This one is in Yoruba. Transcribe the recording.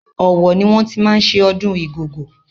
Ọ̀wọ̀ ni wọ́n ti máa ń ṣe ọdún Igogo.